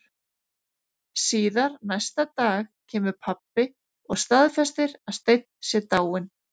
Síðar næsta dag kemur pabbi og staðfestir að Steinn sé dáinn.